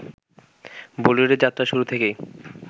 বলিউডে যাত্রার শুরু থেকেই